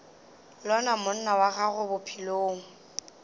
lona monna wa gago bophelong